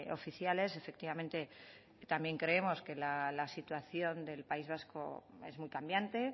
oficiales efectivamente también creemos que la situación del país vasco es muy cambiante